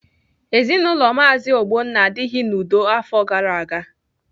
Ezinaụlọ Maazi Ogbonna adịghị n'udo afọ gara aga